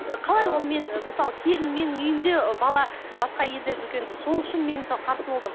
ы қалай ол мен ы мысалы келін менің үйімде бала басқа елде жүргенде сол үшін мен мысалы қарсы болдым